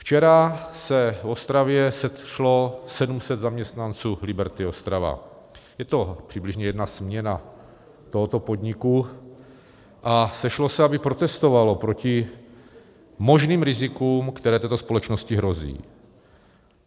Včera se v Ostravě sešlo 700 zaměstnanců Liberty Ostrava, je to přibližně jedna směna tohoto podniku, a sešlo se, aby protestovalo proti možným rizikům, které této společnosti hrozí.